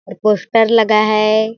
और पोस्टर लगा है।